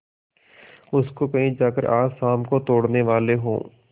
उसको कहीं जाकर आज शाम को तोड़ने वाले हों